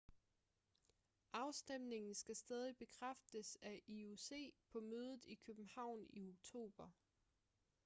afstemningen skal stadig bekræftes af ioc på mødet i københavn i oktober